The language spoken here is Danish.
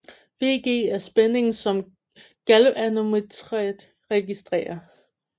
VG er spændingen som galvanometret registrerer